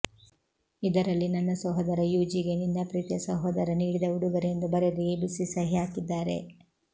ಇದರಲ್ಲಿ ನನ್ನ ಸಹೋದರ ಯುಜಿಗೆ ನಿನ್ನ ಪ್ರೀತಿಯ ಸಹೋದರ ನೀಡಿದ ಉಡುಗೊರೆ ಎಂದು ಬರೆದು ಎಬಿಸಿ ಸಹಿ ಹಾಕಿದ್ದಾರೆ